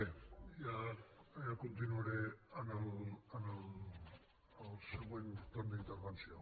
bé ja continuaré en el següent torn d’intervenció